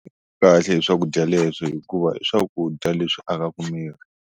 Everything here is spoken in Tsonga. Kahle hi swakudya leswi hikuva i swakudya leswi akaku miri.